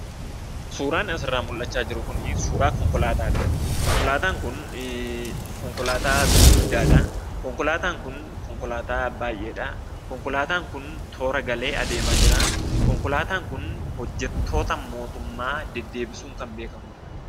suuran asirraa mul'achaa jiru kunii suuraa konkolaataadha. konkolaataan kun konkolaataa gurguddaadhaa. konkolaataan kun konkolaataa baayyeedhaa. konkolaataan kun toora galee adeemaa jiraa konkolaataan kun hojjattoota mootummaa deddeebisuun kan beekkamudha.